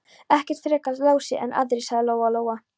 Ekkert frekar Lási en aðrir, sagði Lóa Lóa.